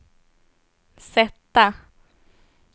sätta